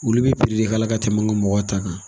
Olu bɛ de k'a la ka tɛmɛ an ka mɔgɔw ta kan.